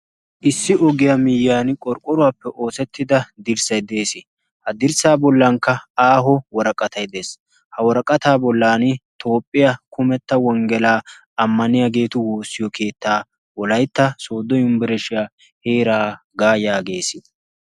issi oggiyaa miiyyiyan qorqqoruwaappe oosettida dirssay dees ha dirssaa bollankka aaho woraqqatay dees ha woraqataa bollan toophphiya kumetta wonggelaa ammaniyaageetu woossiyo keettaa wolaytta sooddo yumbbareshshiyaa heeraagaa yaagees